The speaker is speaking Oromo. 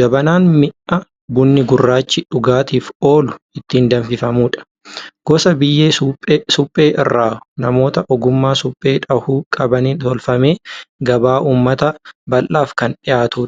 Jabanaan mi'a bunni gurraachi dhugaatiif oolu ittiin danfifamudha. Gosa biyyee suphee irraa namoota ogummaa suphee dhahuu qabaniin tolfamee gabaa uummata bal'aaf kan dhiyaatudha.